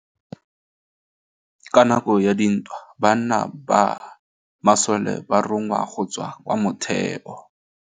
Ka nakô ya dintwa banna ba masole ba rongwa go tswa kwa mothêô.